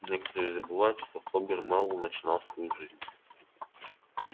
некоторые забывают что хобер мэллоу начинал свою жизнь